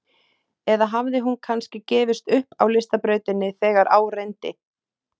Eða hafði hún kannski gefist upp á listabrautinni þegar á reyndi?